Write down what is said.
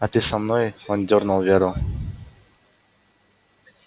а ты со мной он дёрнул веру